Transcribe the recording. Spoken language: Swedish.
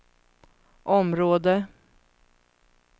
område